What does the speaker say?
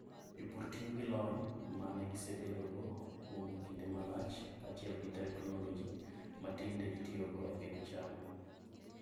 Jopur tiyo gi lony ma ne gisebedogo kuom kinde malach kaachiel gi teknoloji ma tinde itiyogo e pidho cham.